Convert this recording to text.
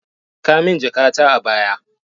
Saka min jakata a baya.